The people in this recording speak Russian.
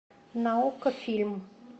на окко фильм